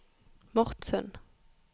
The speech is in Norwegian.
Mortsund